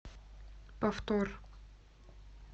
повтор